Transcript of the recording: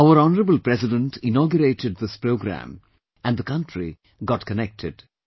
Our Honourable President inaugurated this programme and the country got connected